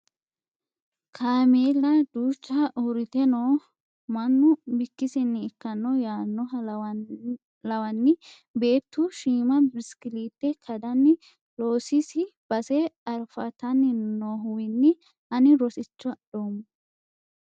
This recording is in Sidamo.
Kaameella duucha uurrite no mannu bikkisinni ikkano yaanoha lawanni beettu shiima biskilite kadani loosisi base arfatani noohuwinni ani rosicho adhoommo.